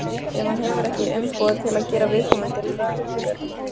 ef hann hefur ekki umboð til að gera viðkomandi löggerning.